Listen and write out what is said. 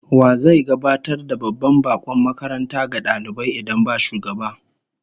Wa zai gabatar da babban bakon makaranta ga dalibai idan ba shugaba?